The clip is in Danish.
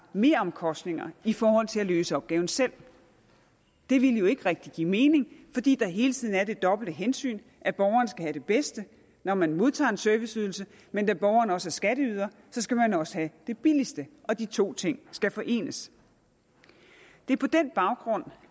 meromkostninger i forhold til at løse opgaven selv det ville jo ikke rigtig give mening fordi der hele tiden er det dobbelte hensyn at borgeren skal have det bedste når man modtager en serviceydelse men da borgeren også er skatteyder skal man også have det billigste og de to ting skal forenes det er på den baggrund